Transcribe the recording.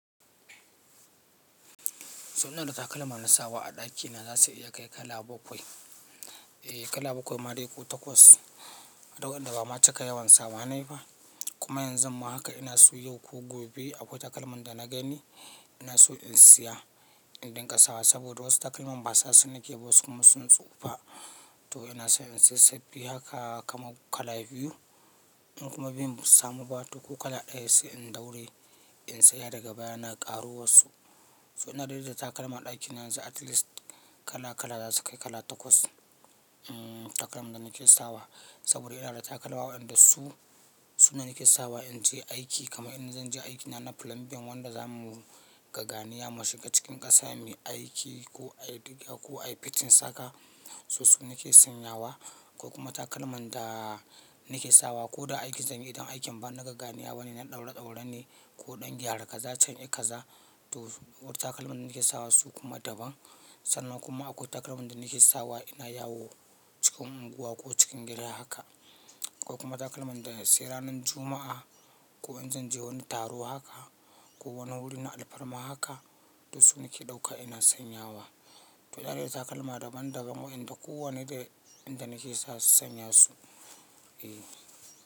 Sannan da takalma na sawa a ɗaki na za su iya kai kala bakwai. Eh kala bakwai ma dai ko takwas, da wanda ba ma cika yawan sawa na ne ba. Kuma yanzun ma haka ina so yau ko gobe, akwai takalman da na gani, ina so in siya, in dinƙa sawa, saboda wasu takalman ba sa su nake ba wasu kuma sun tsufa. To ina so in sai sabbi haka kama kala biyu, in kuma biyun ba su samu ba, to ko kala ɗaya sai in daure, in siya daga baya na ƙaro wasu. To ina dai da takalma a ɗakina yanzu at least, kala kala za su kai kala takwas, mm takalman da nake sawa, saboda ina da takalma waƴanda su, su ne nake sawa in je aiki kama in zan je aiki na na plumbing wanda za mu gaganiya mu shiga cikin ƙasa me aiki, ko ai diga, ko ai fitin saka, so su nake sanyawa. Ko kuma takalman da, nake sawa ko da aikin zan yi idan aikin ban na gagganiya bane na ɗaure ɗaura ne, ko ɗan gyara kaza cha i kaza, to takalman da nake sawa su kuma daban. Sannan kuma akwai takalman da nake sawa ina yawo cikin unguwa ko cikin gida haka. Ko kuma takalman da, sai ranan Juma'a, ko in zan je wani taro haka, ko wani wuri na alfarma haka, to su nake ɗauka ina sanyawa. To da dai takalma daban daban waƴanda kowane da inda nake sa sanya su. Eh.